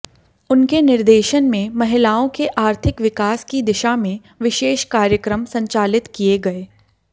उनके निर्देशन में महिलाओं के आर्थिक विकास की दिशा में विशेष कार्यक्रम संचालित किये गये